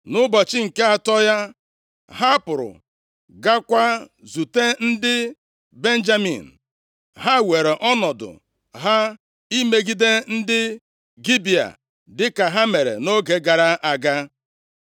Nʼụbọchị nke atọ ya, ha pụrụ gaakwa izute ndị Benjamin, ha were ọnọdụ ha imegide ndị Gibea dịka ha mere nʼoge gara aga.